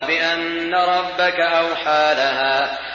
بِأَنَّ رَبَّكَ أَوْحَىٰ لَهَا